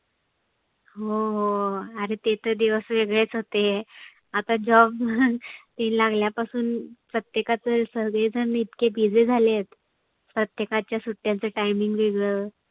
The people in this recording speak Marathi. हो हो आरे ते तर दिवस वेगळेच होते. आता job ते लागल्यापासून प्रत्येकाच सर्वेजन इतके busy झालेत प्रत्येकाच्या सुट्याचं timing वेगळ.